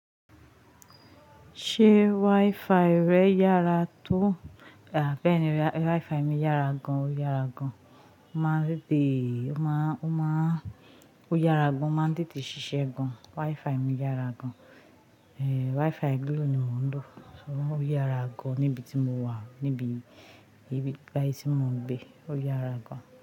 Ṣé WiFi rẹ yára tó? Bẹ́ẹ̀ni, WiFi mi yára gan-an, ó yára gan-an. Ó máa ń tètè, ó máa ń, ó yára gan-an, ó máa ń tètè ṣiṣẹ́ gan-an. WiFi mi yára gan-an. WiFi glo ni mò ń lò, ó yára gan-an níbi tí mo wà, níbi láti mó ń gbé, ó yára gan-an.